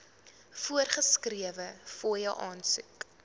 voorgeskrewe fooie aansoek